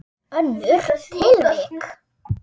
Önnur tilvik.